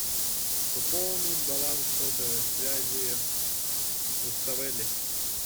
пополнить баланс сотовой связи руставели